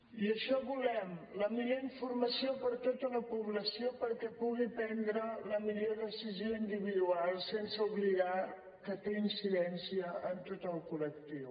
i això volem la millor informació per a tota la població perquè pugui prendre la millor decisió individual sense oblidar que té incidència en tot el col·lectiu